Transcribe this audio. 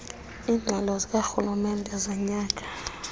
iingxelo zikarhulumente zonyaka